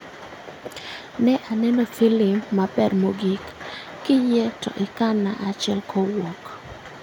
Ne aneno filim maber mogik, kiyie to ikan na achiel kowuok